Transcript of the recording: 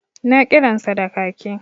Na kiransa da kaki